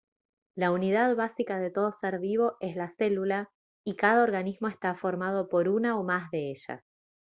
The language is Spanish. la unidad básica de todo ser vivo es la célula y cada organismo está formado por una o más de ellas